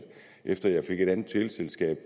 efter jeg fik et andet teleselskab